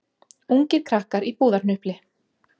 Ungir krakkar í búðarhnupli